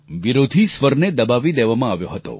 વિરોધી સ્વરને દબાવી દેવામાં આવ્યો હતો